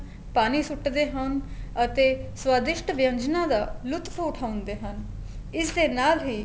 ਪਾਣੀ ਸੁੱਟਦੇ ਹਾਂ ਅਤੇ ਸਵਾਦਿਸ਼ਟ ਵਿੰਅਨਜਨਾ ਦਾ ਲੁਤਫ ਉਠਾਉਂਦੇ ਹਨ ਇਸ ਦੇ ਨਾਲ ਹੀ